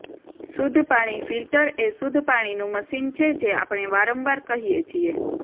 શુદ્ધ પાણી ફિલ્ટર એ શુદ્ધ પાણીનું મશીન છે જે આપણે વારંવાર કહીએ છીએ